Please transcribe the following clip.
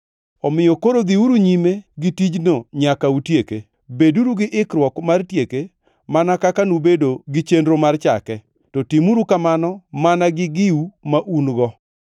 Omiyo koro dhiuru nyime gi tijno nyaka utieke! Beduru gi ikruok mar tieke mana kaka nubedo gi chenro mar chake, to timuru kamano mana gi giu maun-go.